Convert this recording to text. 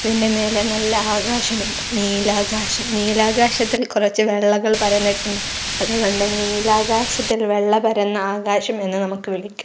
അതിന്റെ മേലെ നല്ല ആകാശം ഉണ്ട് നീലാകാശം നീലാകാശത്തിൽ കുറച്ച് വെള്ളകൾ പരന്നിട്ടുണ്ട് അതുകൊണ്ട് നീലാകാശത്തിൽ വെള്ള പരന്ന ആകാശം എന്ന് നമുക്ക് വിളിക്കാം.